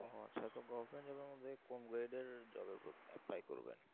ও আচ্ছা তো government job এর মধ্যে কোন grade এর job এ apply করবেন